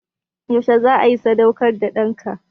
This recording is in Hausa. Yaushe za a yi sadaukarwar da ɗanka?